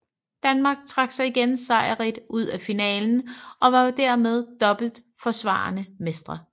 Danmark trak sig igen sejrrigt ud af finalen og var dermed dobbelt forsvarende mestre